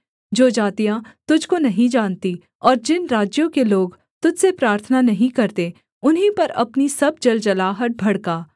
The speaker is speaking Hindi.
जो जातियाँ तुझको नहीं जानती और जिन राज्यों के लोग तुझ से प्रार्थना नहीं करते उन्हीं पर अपनी सब जलजलाहट भड़का